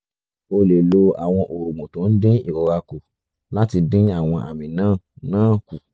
o lè lo àwọn oògùn tó ń dín ìrora kù láti dín àwọn àmì náà náà kù